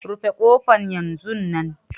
Rufe kofan yanzun nan!